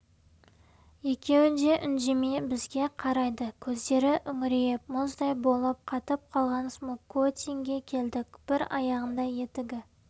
екеуі де үндемей бізге қарайды көздері үңірейіп мұздай болып қатып қалған смокотинге келдік бір аяғында етігі